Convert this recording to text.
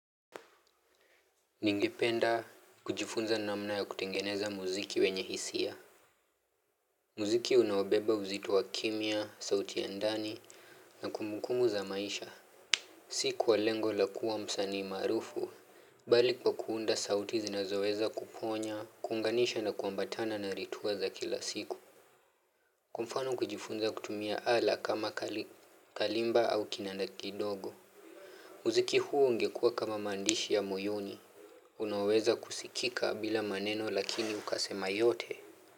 Ningependa kujifunza namna ya kutengeneza muziki wenye hisia muziki unaobeba uzito wa kimya, sauti ya ndani na kumbukumbu za maisha Si kwa lengo la kua msanii maqrufu, bali kwa kuunda sauti zinazoweza kuponya, kuunganisha na kuambatana na ritua za kila siku Kwa mfano kujifunza kutumia ala kama kalimba au kinanda kidogo muziki huu ungekua kama maandishi ya moyoni Unaweza kusikika bila maneno lakini ukasema yote.